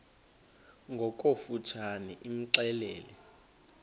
ngokofu tshane imxelele